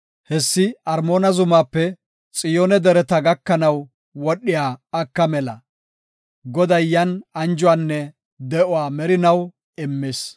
Hessi Armoona zumaape Xiyoone Dereta gakanaw wodhiya aka mela. Goday yan anjuwanne, de7uwa merinaw immis.